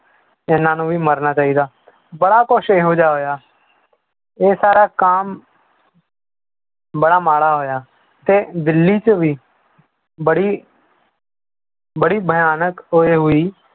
ਇਹਨਾਂ ਨੂੰ ਵੀ ਮਰਨਾ ਚਾਹੀਦਾ ਬੜਾ ਕੁਛ ਇਹੋ ਜਿਹਾ ਹੋਇਆ ਇਹ ਸਾਰਾ ਕੰਮ ਬੜਾ ਮਾੜਾ ਹੋਇਆ ਤੇ ਦਿੱਲੀ 'ਚ ਵੀ ਬੜੀ ਬੜੀ ਭਿਆਨਕ ਇਹ ਹੋਈ